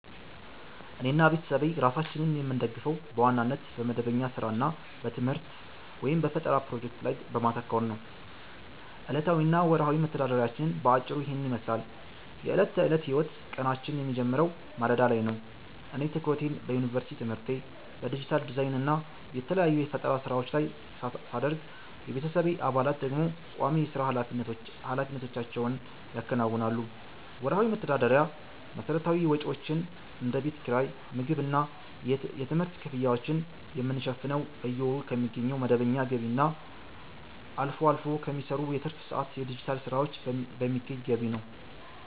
እኔና ቤተሰቤ ራሳችንን የምንደግፈው በዋናነት በመደበኛ ሥራ እና በትምህርት/በፈጠራ ፕሮጀክቶች ላይ በማተኮር ነው። ዕለታዊ እና ወርሃዊ መተዳደሪያችን በአጭሩ ይህንን ይመስላል፦ የዕለት ተዕለት ሕይወት፦ ቀናችን የሚጀምረው ማለዳ ላይ ነው። እኔ ትኩረቴን በዩኒቨርሲቲ ትምህርቴ፣ በዲጂታል ዲዛይን እና በተለያዩ የፈጠራ ሥራዎች ላይ ሳደርግ፣ የቤተሰቤ አባላት ደግሞ ቋሚ የሥራ ኃላፊነቶቻቸውን ያከናውናሉ። ወርሃዊ መተዳደሪያ፦ መሠረታዊ ወጪዎቻችንን (እንደ ቤት ኪራይ፣ የምግብ እና የትምህርት ክፍያዎችን) የምንሸፍነው በየወሩ ከሚገኘው መደበኛ ገቢ እና አልፎ አልፎ ከሚሰሩ የትርፍ ሰዓት የዲጂታል ሥራዎች በሚገኝ ገቢ ነው።